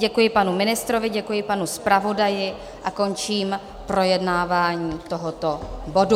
Děkuji panu ministrovi, děkuji panu zpravodaji a končím projednávání tohoto bodu.